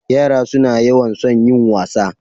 Yara suna yawan son yin wasa.